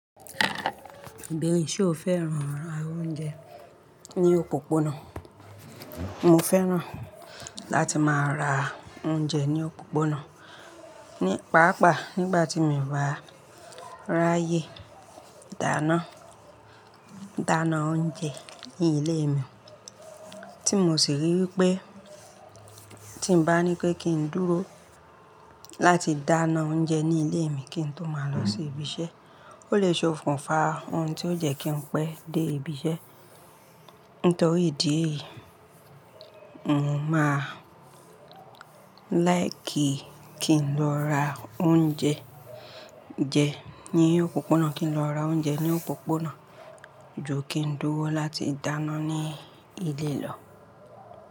Ibeere, ṣe o fẹ́ran ra oúnjẹ ní òpópónà? Mo fẹ́ran láti máa ra oúnjẹ ní òpópónà. Ni paapaa nígbà tí mi o bá ráyè dáná, dáná oúnjẹ ní ilé mi, tí mo sì ríi wípé tí n bá ní pé kí ń dúró láti dáná oúnjẹ ní ilé mi kí n tó máa lọ sí ibi iṣẹ́, ó lè ṣe ókún fa ohun tí ó jẹ́ kí n pẹ́ dé ibi iṣẹ́. Nítorí ìdí èyí, mo máa láìkí kí n lọ ra oúnjẹ jẹ ní òpópónà, kí n lọ ra oúnjẹ ní òpópónà ju kí n dúró láti dáná ní ilé lọ.